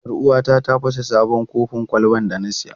Yar uwata ta fasa sabon kofin kwalban da na saya.